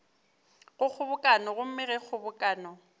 go kgobokano gomme ge kgobokano